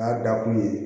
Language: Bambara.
N y'a da kun ye